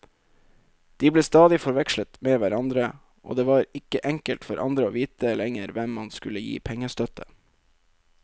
De ble stadig forvekslet med hverandre, og det var ikke enkelt for andre å vite lenger hvem man skulle gi pengestøtte.